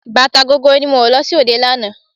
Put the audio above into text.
Bàtà gogoro ni mo wọ̀ lọ sí òde lánàá.